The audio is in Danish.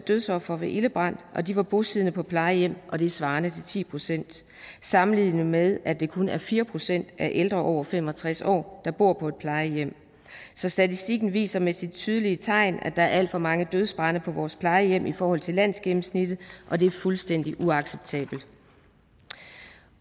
dødsofre ved ildebrand bosiddende på plejehjem og det er svarende til ti procent sammenlignet med at det kun er fire procent af ældre over fem og tres år der bor på et plejehjem så statistikken viser med sine tydelige tegn at der er alt for mange dødsbrande på vores plejehjem i forhold til landsgennemsnittet og det er fuldstændig uacceptabelt